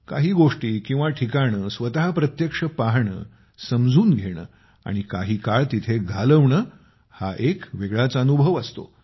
काही गोष्टी किंवा ठिकाणे स्वतः प्रत्यक्ष पाहणे समजून घेणे आणि काही काळ तिथे घालवणे हा एक वेगळाच अनुभव असतो